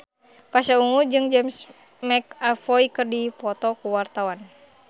Pasha Ungu jeung James McAvoy keur dipoto ku wartawan